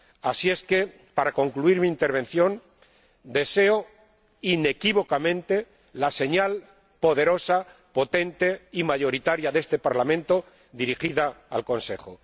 Así es que, para concluir mi intervención, deseo inequívocamente la señal poderosa, potente y mayoritaria de este Parlamento, dirigida al Consejo.